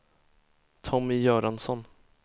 Tommy Göransson